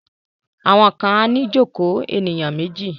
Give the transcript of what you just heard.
Àwọn kan á ní ìjokòó ènìyàn méjì.